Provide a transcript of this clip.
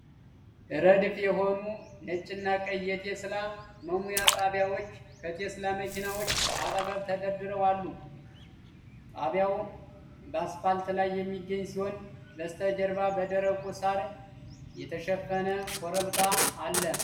ረድፍ የሆኑ ነጭና ቀይ የቴስላ መሙያ ጣቢያዎች ከቴስላ መኪናዎች አጠገብ ተደርድረው አሉ። ጣቢያው በአስፋልት ላይ የሚገኝ ሲሆን፣ በስተጀርባ በደረቁ ሳር የተሸፈነ ኮረብታ አለ።